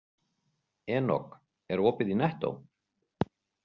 Enok, er opið í Nettó?